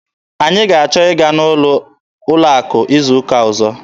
Anyị ga-achọ ịga n'ụlọ akụ izu ụka ọzọ.